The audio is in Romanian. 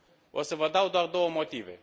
O să vă dau doar două motive.